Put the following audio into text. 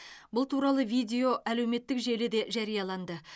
бұл туралы видео әлеуметтік желіде жарияланды